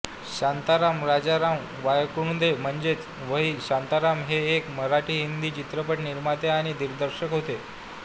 शांताराम राजाराम वणकुद्रे म्हणजेच व्ही शांताराम हे एक मराठीहिंदी चित्रपट निर्माते आणि दिग्दर्शक होते